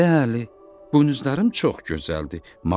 Bəli, buynuzlarım çox gözəldir.